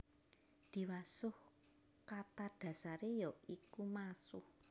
Diwasuh kata dasare ya iku masuh